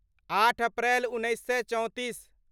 आठ अप्रैल उन्नैस सए चौंतीस